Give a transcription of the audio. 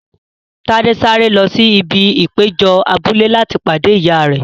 Tade sáré lọ sí ibi ìpéjọ abúlé láti pàdé ìyá rẹ.